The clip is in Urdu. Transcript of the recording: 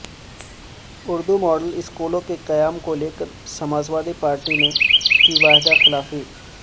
اردو ماڈل اسکولوں کے قیام کو لیکر سماجوادی پارٹی نے کی وعدہ خلافی